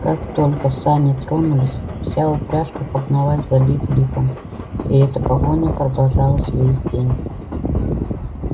как только сани тронулись вся упряжка погналась за лип липом и эта погоня продолжалась весь день